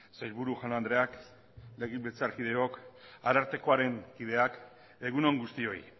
sailburu jaun andreak legebiltzarkideok arartekoaren kideak egun on guztioi